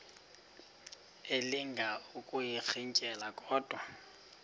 elinga ukuyirintyela kodwa